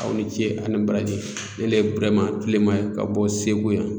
Aw ni ce ani baraji ne d ye Burahima Tilema ye ka bɔ Segu yan.